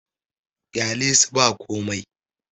ƙyalesu ba komai!